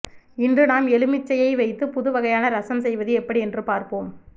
இன்று நாம் எலுமிச்சையை வைத்து புதுவைகையான ரசம் செய்வதுஎப்படி என்று பார்ப்போம்